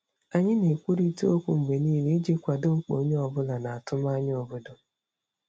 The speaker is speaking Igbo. Anyị na-ekwurịta okwu mgbe niile iji kwado mkpa onye ọ bụla na atụmanya obodo.